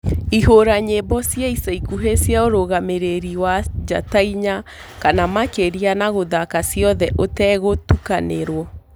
ihura nyĩmbo cĩa ĩca ĩkũhĩ cĩa urugamiriri wa njata ĩnya kana makiria na guthaka cĩothe utegutukanirwo